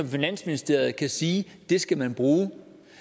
finansministeriet kan sige det skal man bruge det